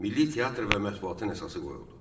Milli teatr və mətbuatın əsası qoyuldu.